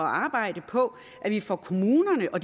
arbejde på at vi får kommunerne og